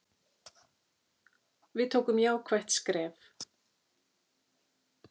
Við tókum jákvætt skref.